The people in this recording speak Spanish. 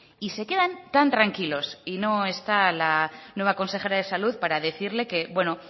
y se quedan tan tranquilos y no está la nueva consejera de salud para decirle que bueno